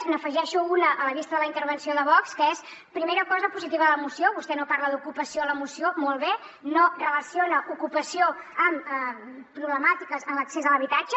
n’hi afegeixo una a la vista de la intervenció de vox que és primera cosa positiva de la moció vostè no parla d’ocupació a la moció molt bé no relaciona ocupació amb problemàtiques en l’accés a l’habitatge